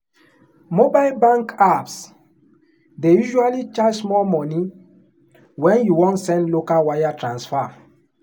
mobile bank apps dey usually charge small money when you wan send local wire transfer.